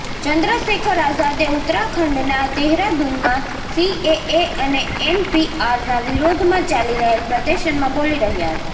ચંદ્રશેખર આઝાદે ઉત્તરાખંડના દેહરાદૂનમાં સીએએ અને એનપીઆરના વિરોધમાં ચાલી રહેલ પ્રદર્શનમાં બોલી રહ્યા હતા